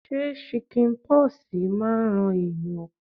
Ṣé chicken pox máa ń ran ẹ̀yàn.?